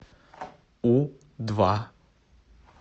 у два